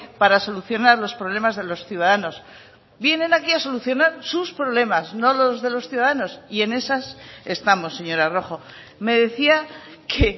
para solucionar los problemas de los ciudadanos vienen aquí a solucionar sus problemas no los de los ciudadanos y en esas estamos señora rojo me decía que